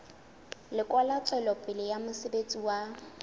lekola tswelopele ya mosebetsi wa